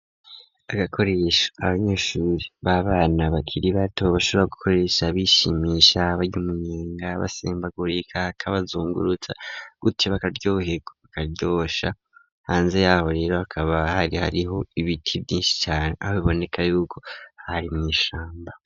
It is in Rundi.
Agakoresho abanyeshuri b'abana bakiri bato bashobra gukoresha bishimisha barya umunyenga basimbagurika, kabazungurutsa gutyo bakaryoherwa bakaryosha. Hanze yaho rero hakaba hari hariho ibiti vyinshi cane aho biboneka yuko hari mw'ishamba.